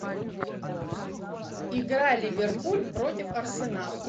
игра ливерпуль против арсенал